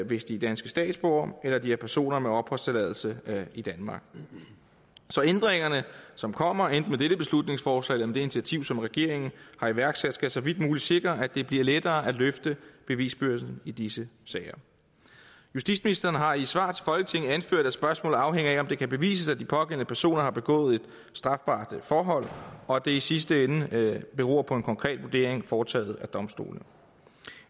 hvis de er danske statsborgere eller de er personer med opholdstilladelse i danmark så ændringerne som kommer enten med dette beslutningsforslag eller med det initiativ som regeringen har iværksat skal så vidt muligt sikre at det bliver lettere at løfte bevisbyrden i disse sager justitsministeren har i et svar til folketinget anført at spørgsmålet afhænger af om det kan bevises at de pågældende personer har begået et strafbart forhold og at det i sidste ende beror på en konkret vurdering foretaget af domstolene